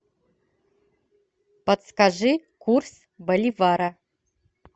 подскажи курс боливара